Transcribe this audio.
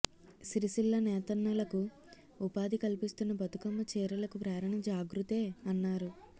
సిరిసిల్ల నేతన్నలకు ఉపాధి కల్పిస్తున్న బతుకమ్మ చీరలకు ప్రేరణ జాగృతే అన్నారు